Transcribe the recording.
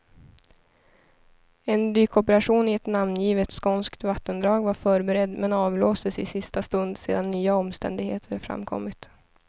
En dykoperation i ett namngivet skånskt vattendrag var förberedd, men avblåstes i sista stund sedan nya omständigheter framkommit.